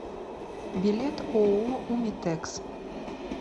билет ооо умитэкс